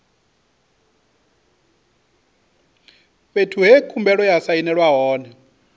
fhethu he khumbelo ya sainelwa hone